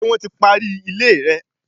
Ṣé wọ́n ti parí ilé rẹ?